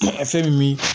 Ka fɛn min min